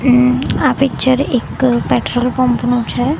આ પિક્ચર એક petrol pump નું છે.